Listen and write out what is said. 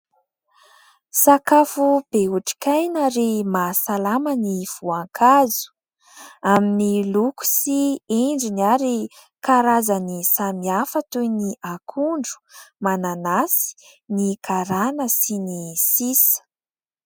Sakafo be otrikaina ary mahasalama ny voankazo amin'ny loko sy endriny ary karazany samy hafa toy : ny akondro, mananasy, ny garana sy ny sisa.